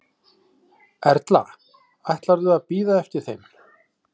Erla: Ætlarðu að bíða eftir þeim?